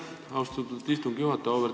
Aitäh, austatud istungi juhataja!